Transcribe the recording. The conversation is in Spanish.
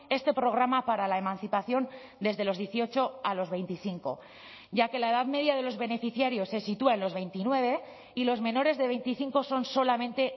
este programa para la emancipación desde los dieciocho a los veinticinco ya que la edad media de los beneficiarios se sitúa en los veintinueve y los menores de veinticinco son solamente